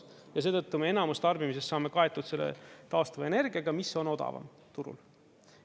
Ja seetõttu me enamus tarbimisest saame kaetud taastuvenergiaga, mis on odavam turul.